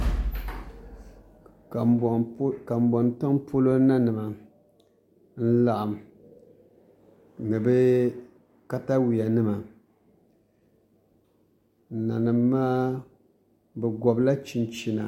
Kanbon tiŋ polo nanim n laɣam ni bi katawiya nima nanim maa bi gobla chinchina